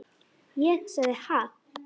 Ég sagði: Ha?